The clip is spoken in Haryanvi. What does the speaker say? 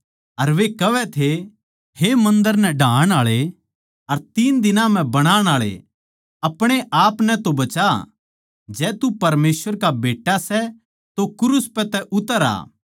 अर वे कहवै थे हे मन्दर नै ढाण आळे अर तीन दिनां म्ह बनाण आळे अपणे आपनै तो बचा जै तू परमेसवर का बेट्टा सै तो क्रूस पै तै उतर आ